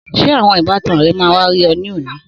Sé àwọn ìbátan ré máa wá rí ọ ní òní?